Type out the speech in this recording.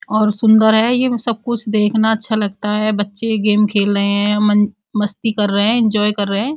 और सुंदर है। ये सब कुछ देखना अच्छा लगता है। बच्चे गेम खेल रहे हैं। मस्ती कर रहे हैं। एन्जॉय कर रहे हैं।